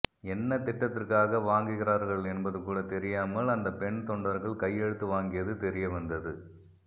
என்ன திட்டத்திற்காக வாங்குகிறார்கள் என்பது கூட தெரியாமல் அந்த பெண் தொண்டர்கள் கையெழுத்து வாங்கியது தெரியவந்தது